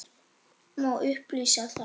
Má upplýsa þær?